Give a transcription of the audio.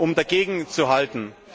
um dagegenzuhalten.